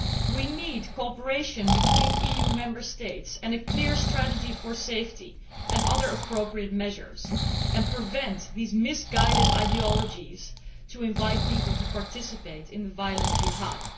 We need cooperation between EU Member States and a clear strategy for safety and other appropriate measures and to prevent these misguided ideologies inviting people to participate in the violent jihad.